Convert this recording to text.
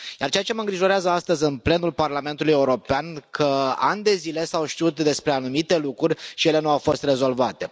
Dar ceea ce mă îngrijorează astăzi în plenul Parlamentului European este că ani de zile s au știut despre anumite lucruri și ele nu au fost rezolvate.